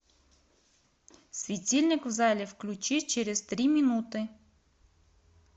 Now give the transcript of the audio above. светильник в зале включи через три минуты